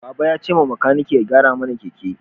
Baba ya ce makaniki ya gyara mana keke